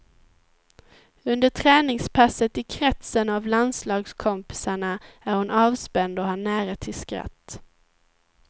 Under träningspasset i kretsen av landslagskompisarna är hon avspänd och har nära till skratt.